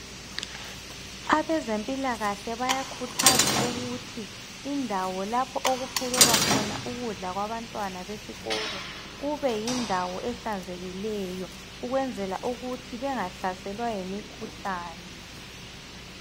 Abezempilakahle bayakhuthaza ukuthi indawo lapho okuphekelwa khona ukudla kwabantwana besikolo kube yindawo ehlanzekileyo ukwenzela ukuthi bengahlaselwa yimikhuhlane.